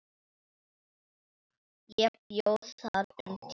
Ég bjó þar um tíma.